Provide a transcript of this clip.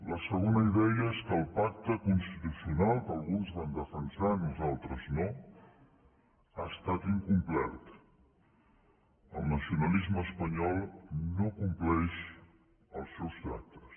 la segona idea és que el pacte constitucional que alguns van defensar nosaltres no ha estat incomplert el nacionalisme espanyol no compleix els seus tractes